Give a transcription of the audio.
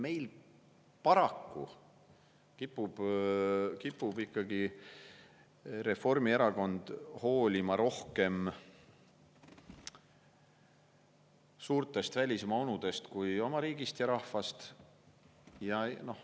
Kohati tundub, et paraku kipub Reformierakond rohkem hoolima ikkagi suurtest välismaa onudest kui oma riigist ja rahvast.